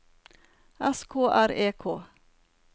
S K R E K